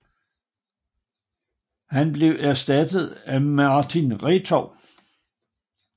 Han blev erstattet af Martin Retov